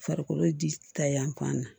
Farikolo ta yan fan na